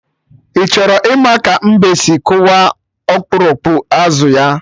Ị chọrọ ịma ka mbe si kụwa okpurukpu azụ ya?